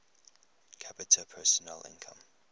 capita personal income